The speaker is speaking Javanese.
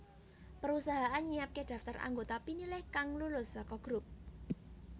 Perusahaan nyiapké daftar anggota pinilih kang lulus saka grup